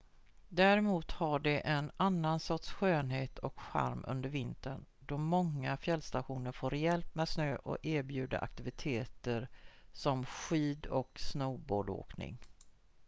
däremot har de en annan sorts skönhet och charm under vintern då många fjällstationer får rejält med snö och erbjuder aktiviteter som skid- och snowboardåkning